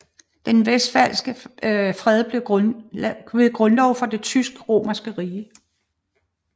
Den westfalske fred blev grundlov for det tysk romerske rige